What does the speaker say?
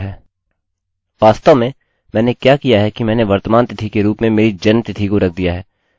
मैं वर्तमान तिथि के रूप में मेरी जन्म तिथि नहीं चाहता हूँ क्योंकि मेरा जन्म आज नहीं हुआ